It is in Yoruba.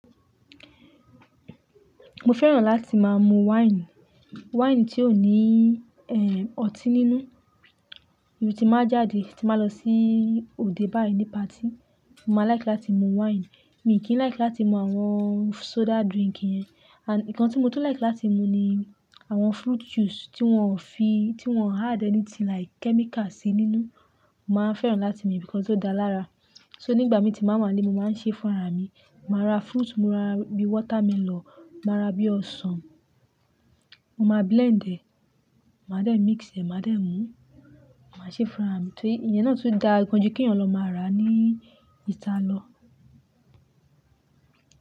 Mo fẹ́ràn láti máa mu wáìnì, wáìnì tí ò ní ẹ́ ọtí nínú. Ibí tí n báa jáde, tí n ba lọ sí òde báyìí ní patí, mo máa like láti mú wáìnì. Mi kìí like láti mú soda drink yẹn. And nǹkan tí mo tún like láti mú ni àwọn fruit juice tí wọ́n ò fi, tí wọ́n ò add anything like chemical sí nínú. Mo máa n fẹ́ràn láti mú because ó da lára. So nígbà mí tí n bàá wà n le, mo máa ń ṣe fún ara mi. Màá ra fruit, mo ra bí watermelon, màá ra bí ọsàn. Mo máa blend ẹ̀, màá dé mix ẹ̀, màá dé mú, màá ṣe fún ara mi. Tó iye náà tun da gan ju kí eeyàn lọ máa rà ní ìta lọ.